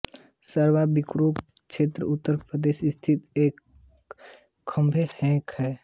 सकरावा छिबरामऊ कन्नौज उत्तर प्रदेश स्थित एक कस्बा हैके